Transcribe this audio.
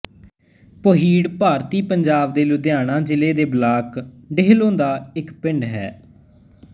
ਪੋਹੀੜ ਭਾਰਤੀ ਪੰਜਾਬ ਦੇ ਲੁਧਿਆਣਾ ਜ਼ਿਲ੍ਹੇ ਦੇ ਬਲਾਕ ਡੇਹਲੋਂ ਦਾ ਇੱਕ ਪਿੰਡ ਹੈ